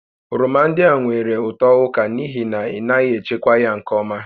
Oroma ndị a nwèrè ụtọ ụka n'ihi na ị naghị echekwa ya nke ọma